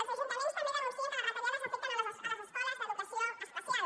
els ajuntaments també denuncien que les retallades afecten les escoles d’educació especial